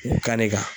U kan'i kan